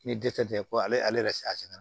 Ni dɛsɛ tɛ ko ale yɛrɛ se a sɛgɛn na